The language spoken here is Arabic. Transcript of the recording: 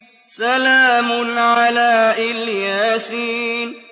سَلَامٌ عَلَىٰ إِلْ يَاسِينَ